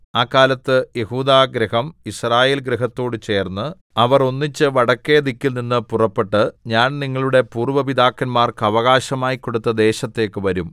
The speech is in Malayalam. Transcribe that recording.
ആ കാലത്ത് യെഹൂദാഗൃഹം യിസ്രായേൽ ഗൃഹത്തോട് ചേർന്ന് അവർ ഒന്നിച്ച് വടക്കെ ദിക്കിൽ നിന്നു പുറപ്പെട്ട് ഞാൻ നിങ്ങളുടെ പൂര്‍വ്വ പിതാക്കന്മാർക്ക് അവകാശമായി കൊടുത്ത ദേശത്തേക്ക് വരും